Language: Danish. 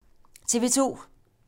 TV 2